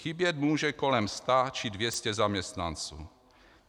Chybět může kolem 100 či 200 zaměstnanců.